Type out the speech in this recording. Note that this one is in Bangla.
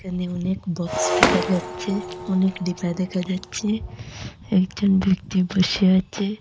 এখানে অনেক বক্স দেখা যাচ্ছে অনেক ডিব্বা দেখা যাচ্ছে একজন ব্যক্তি বসে আছে।